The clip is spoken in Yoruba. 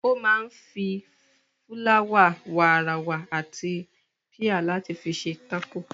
Ó máa ń fi, fúláwà, wààràwà àti píà láti fi ṣe tákò.